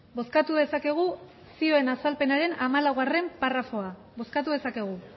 bozkatu dezakegu zioen azalpenaren hamalaugarrena paragrafoa bozkatu dezakegu